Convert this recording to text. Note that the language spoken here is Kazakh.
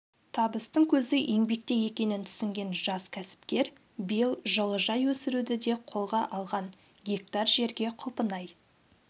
табыстың көзі еңбекте екенін түсінген жас кәсіпкер биыл жылыжай өсіруді де қолға алған гектар жерге құлпынай